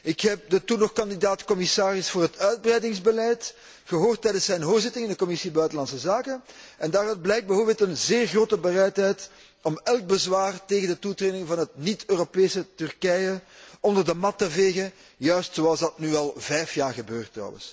Ik heb de toen nog kandidaat commissaris voor het uitbreidingsbeleid gehoord tijdens zijn hoorzitting in de Commissie buitenlandse zaken en daaruit blijkt bijvoorbeeld een zeer grote bereidheid om elk bezwaar tegen de toetreding van het niet Europese Turkije onder de mat te vegen, zoals dat nu al vijf jaar gebeurt.